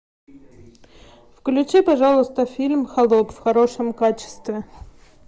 включи пожалуйста фильм холоп в хорошем качестве